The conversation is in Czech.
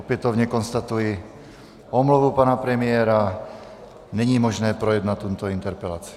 Opětovně konstatuji omluvu pana premiéra, není možné projednat tuto interpelaci.